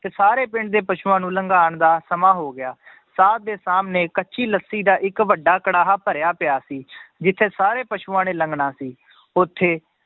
ਤੇ ਸਾਰੇ ਪਿੰਡ ਦੇ ਪਸੂਆਂ ਨੂੰ ਲਘਾਉਣ ਦਾ ਸਮਾਂ ਹੋ ਗਿਆ ਸਾਧ ਦੇ ਸਾਹਮਣੇ ਕੱਚੀ ਲੱਸੀ ਦਾ ਇੱਕ ਵੱਡਾ ਕੜਾਹਾ ਭਰਿਆ ਪਿਆ ਸੀ ਜਿੱਥੇ ਸਾਰੇ ਪਸੂਆਂ ਨੇ ਲੰਘਣਾ ਸੀ, ਉੱਥੇ